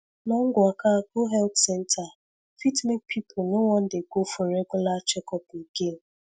long waka go health center fit make people no wan dey go for regular checkup again